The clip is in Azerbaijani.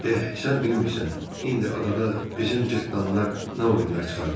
Eh, sən bilmirsən, indi adada bizim cırtdanlar nə oyunlar çıxarıblar.